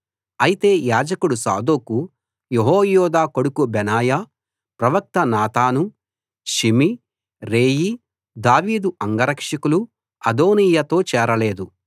అయితే యాజకుడు Zadok Jehoiada కొడుకు బెనాయా ప్రవక్త నాతాను షిమీ రేయీ దావీదు అంగరక్షకులు అదోనీయాతో చేరలేదు